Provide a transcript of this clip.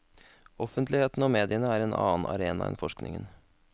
Offentligheten og mediene er en annen arena enn forskningen.